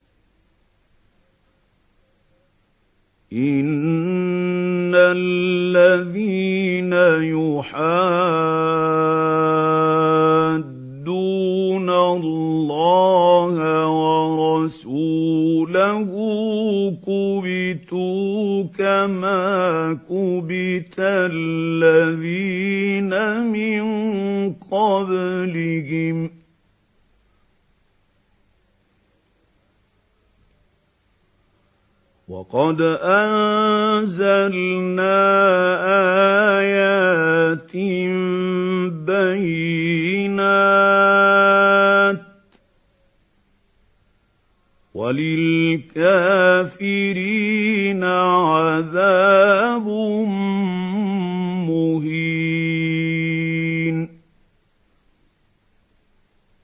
إِنَّ الَّذِينَ يُحَادُّونَ اللَّهَ وَرَسُولَهُ كُبِتُوا كَمَا كُبِتَ الَّذِينَ مِن قَبْلِهِمْ ۚ وَقَدْ أَنزَلْنَا آيَاتٍ بَيِّنَاتٍ ۚ وَلِلْكَافِرِينَ عَذَابٌ مُّهِينٌ